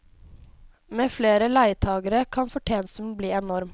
Med flere leietagere kan fortjenesten bli enorm.